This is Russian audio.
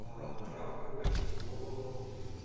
травка гашло